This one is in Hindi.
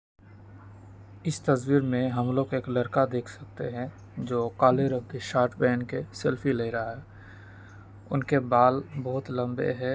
इस तस्वीर मे हम लोग एक लड़का देख सकते है जो काले रंग की शर्ट पहन के सेल्फी ले रहा है उनके बाल बहुत लंबे है।